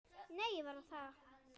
Nei, ég var þar